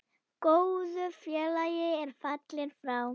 Góður félagi er fallinn frá.